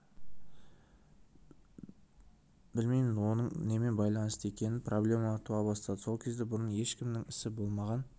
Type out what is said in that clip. білмеймін оның немен байлансты екенін проблемалар туа бастады сол кезде бұрын ешкімнің ісі де болмаған